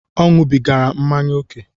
Ọ ñubigara mmanya ókè